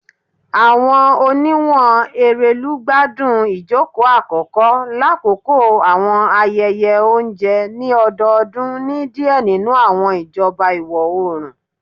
Awọn oniwun Erelu gbadun ijoko akọkọ lakoko awọn ayẹyẹ ounjẹ ni ọdọọdun ni diẹ ninu awọn ijọba iwọ-oorun.